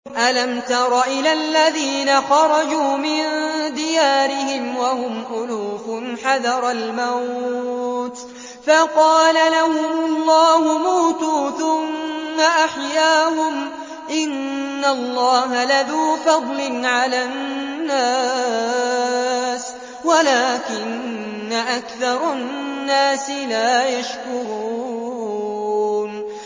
۞ أَلَمْ تَرَ إِلَى الَّذِينَ خَرَجُوا مِن دِيَارِهِمْ وَهُمْ أُلُوفٌ حَذَرَ الْمَوْتِ فَقَالَ لَهُمُ اللَّهُ مُوتُوا ثُمَّ أَحْيَاهُمْ ۚ إِنَّ اللَّهَ لَذُو فَضْلٍ عَلَى النَّاسِ وَلَٰكِنَّ أَكْثَرَ النَّاسِ لَا يَشْكُرُونَ